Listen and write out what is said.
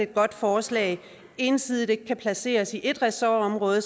godt forslag ikke ensidigt kan placeres i ét ressortområde